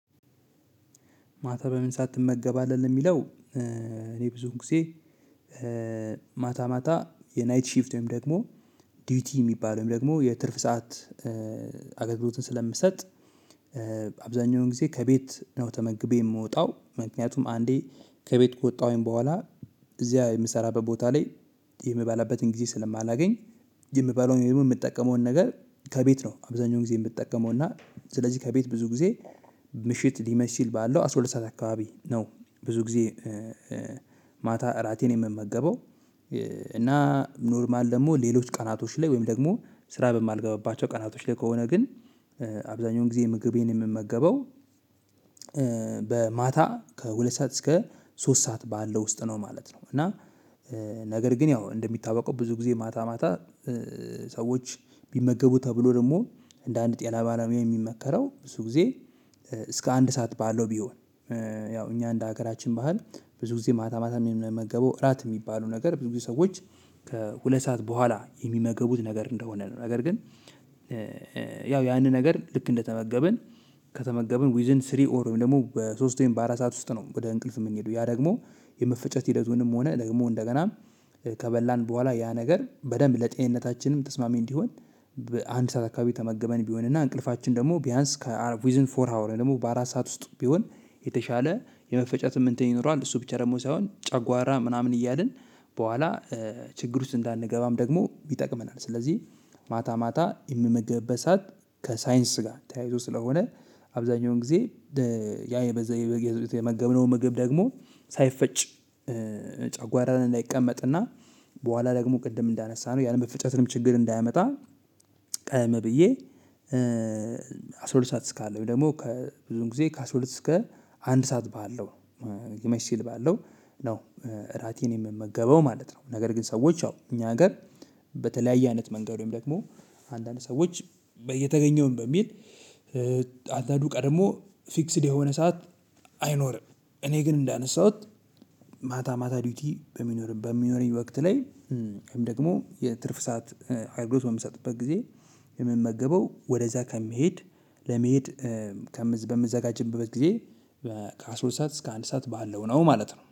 ማታ በምን ትመገባለህ? የሚለው? እኔ ብዙውን ጊዜ ማታ ማታ የናይት ሺፍት ወይም ደግሞ ዲዩቲ የሚባል ወይም ደግሞ የትርፍ ሰዓት አገልግሎትን ስለምሰጥ። አብዛኛውን ጊዜ ከቤት ነው ተመግቤ የምወጣው ምክንያቱም አንዴ ከቤት ከወጣሁኝ በኋላ እዚያ የምሰራበት ቦታ ላይ የምባላበትን ጊዜ ስለማላገኝ የምበላውን ወይም ደግሞ የምጠቀመውን ነገር ከቤት ነው አብዛኛውን ጌዜ የምጠቀመውና። ስለዚህ ከቤት ብዙ ጊዜ ምሽት ሊመሽ ሲል ባለው አስራ ሁለት ሰዓት አካባቢ ነው። ብዙ ጊዜ ማታ እራቴን የምመገበው። እና ኖርማል ደግሞ ሌሎች ቀናቶች ላይ ወይም ደግሞ ስራ በማልገባባቸው ቀናቶች ላይ ከሆነ ግን አብዛኛውን ጊዜ ምግቤን የምመገበው በማታ ከሁለት ሰዓት እስከ ሶስት ሰዓት ባለው ውስጥ ነው ማለት ነው። እና ነገር ግን ያው እንደሚታወቀው ብዙ ጊዜ ማታ ማታ ሰዎች ቢመገቡ ተብሎ ደግሞ እንደ አንድ ጤና ባለሙያ የሚመከረው ብዙ ጊዜ እስከ አንድ ሰዓት ባለው ቢሆን። ያው እኛ እንደ ሀገራችን ባህል ብዙ ጊዜ ማታ ማታ የምንመገበው እራት የሚባሉ ነገር ብዙ ጊዜ ሰዎች ከሁለት ሰዓት በኋላ የሚመገቡት ነገር እንደሆነ ነው ነገር ግን። ያው ያንን ነገር ልክ እንደተመገብን ከተመገብን ዊዝ ኢን ስሪ ኦር ወይም ደግሞ በሶስት ወይም በአራት ሰዓት ውስጥ ነው ወደ እንቅልፍ የምንሄደው ያ ደግሞ የመፈጨት ሂደቱንም ሆነ ደግሞ እንደገናም ከበላን በኋላ ያ ነገር በደንብ ለጤንነታችንም ተስማሚ እንዲሆን በአንድ ሰዓት አካባቢ ተመግበን ቢሆንና እንቅልፋችን ደግሞ ቢያንስ ዊዝ ኢን ፎር ሃወር ወይም ደግሞ በአራት ሰዓት ውስጥ ቢሆን የተሻለ የመፈጨትም እንትን ይኖረዋል። እሱ ብቻ ደግሞ ሳይሆን ጫጓራ ምናምን እያልን በኋላ ችግር ውስጥ እንዳንገባም ደግሞ ይጠቅመናል። ስለዚህ ማታ ማታ የምንመገብበት ሰዓት ከሳይንስ ጋር ተያይዞ ስለሆነ አብዛኛውን ጊዜ ያ የተመገብነው ምግብ ደግሞ ሳይፈጭ ጨጓራ ላይ እንዳይቀመጥና በኋላ ደግሞ ቅድም እንዳነሳነው ያለመፈጨትንም ችግር እንዳያመጣ። ቀደም ብዬ አስራ ሁለት ሰዓት እስካለ ወይም ደግሞ ከብዙውን ጊዜ ከአስራ ሁለት እስከ አንድ ሰዓት ባለው ሊመሽ ሲል ባለው ነው እራቴን የምመገበው ማለት ነው። ነገር ግን ሰዎች ያው እኛ ሀገር በተለያየ አይነት መንገድ ወይም ደግሞ አንዳንድ ሰዎች የተገኘውን በሚል አንዳንዱ ቀድሞ ፊክስድ የሆነ ሰዓት አይኖርም። እኔ ግን እንዳነሳሁት ማታ ማታ ዲዩቲ በሚኖረኝ በሚኖረኝ ወቅት ላይ ወይም ደግሞ የትርፍ ሰዓት አገልግሎት በምሰጥበት ጊዜ የምመገበው ወደዛ ከሚሄድ ለመሄድ በምንዘጋጀበት ጊዜ ከአስራ ሁለት ሰዓት እስከ አንድ ሰዓት ባለው ነው ማለት ነው።